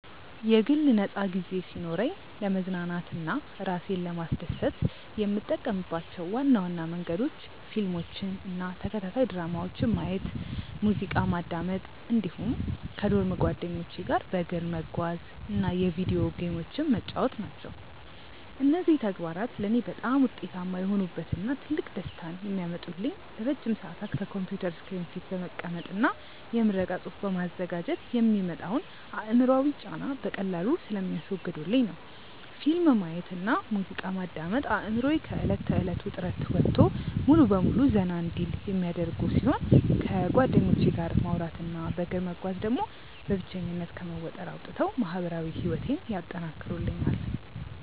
የግል ነፃ ጊዜ ሲኖረኝ ለመዝናናት እና እራሴን ለማስደሰት የምጠቀምባቸው ዋና ዋና መንገዶች ፊልሞችን እና ተከታታይ ድራማዎችን ማየት፣ ሙዚቃ ማዳመጥ እንዲሁም ከዶርም ጓደኞቼ ጋር በእግር መጓዝ እና የቪዲዮ ጌሞችን መጫወት ናቸው። እነዚህ ተግባራት ለእኔ በጣም ውጤታማ የሆኑበት እና ትልቅ ደስታን የሚያመጡልኝ ለረጅም ሰዓታት ከኮምፒውተር ስክሪን ፊት በመቀመጥ እና የምረቃ ፅሁፍ በማዘጋጀት የሚመጣውን አእምሯዊ ጫና በቀላሉ ስለሚያስወግዱልኝ ነው። ፊልም ማየት እና ሙዚቃ ማዳመጥ አእምሮዬ ከእለት ተእለት ውጥረት ወጥቶ ሙሉ በሙሉ ዘና እንዲል የሚያደርጉ ሲሆን፣ ከጓደኞቼ ጋር ማውራት እና በእግር መጓዝ ደግሞ በብቸኝነት ከመወጠር አውጥተው ማህበራዊ ህይወቴን ያጠናክሩልኛል።